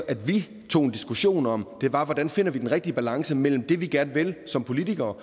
at vi tog en diskussion om var hvordan vi finder den rigtige balance imellem det vi gerne vil som politikere